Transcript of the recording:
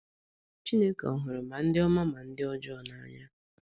Chineke ọ̀ hụrụ ma ndị ọma ma ndị ọjọọ n’anya?